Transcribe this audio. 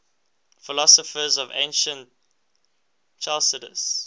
philosophers of ancient chalcidice